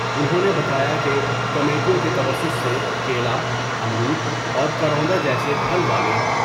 انھوں نے بتایا کہ کمیٹیوں کے توسط سے کیلا ، امرود اور کروندہ جیسے پھل والے